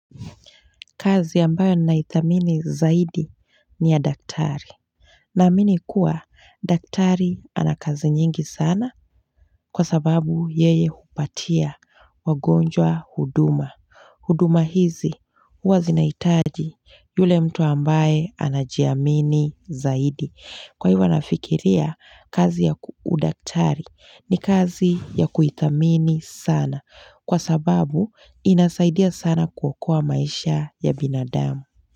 Kazi ambayo naithamini zaidi ni ya daktari. Naamini kuwa daktari ana kazi nyingi sana kwa sababu yeye hupatia wagonjwa huduma. Huduma hizi huwa zinaitaji yule mtu ambaye anajiamini zaidi. Kwa hivyo nafikiria kazi ya udaktari ni kazi ya kuitamini sana kwa sababu inasaidia sana kuokoa maisha ya binadamu.